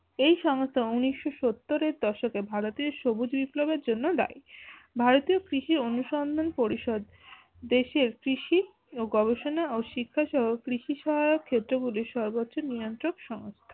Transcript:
এই সংস্থা ঊনিশো সত্তরের দশকে ভারতীয় সবুজ বিপ্লব এর জন্য দায়। ভারতীয় কৃষি অনুসন্ধান পরিসদ দেশের কৃষি ও গবেষণা ও শিক্ষা সহ কৃষি সহায়ক ক্ষেত্র গুলি সর্বোচ্চ নিয়ন্ত্রক সংস্থা